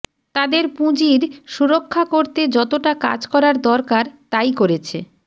তাদের পুঁজির সুরক্ষা করতে যতটা কাজ করার দরকার তাই করেছে